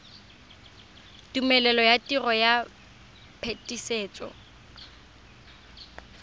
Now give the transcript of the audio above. tumelelo ya tiro ya phetisetso